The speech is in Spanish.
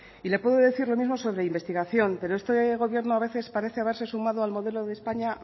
y le puedo decir lo mismo sobre la investigación pero este gobierno a veces parece haberse sumado al modelo de españa